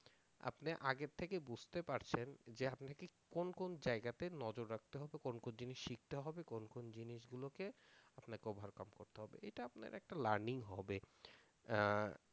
আপনি আগের থেকে বুঝতে পারছেন যে আপনাকে কোন কোন জায়গাতে নজর রাখতে হবে কোন কোন জিনিস শিখতে হবে কোন কোন জিনিসগুলোকে আপনাকে ওভারকাম করতে হবে এইটা আপনার একটা লার্নিং হবে